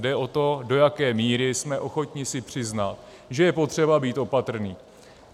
Jde o to, do jaké míry jsme ochotni si přiznat, že je potřeba být opatrný.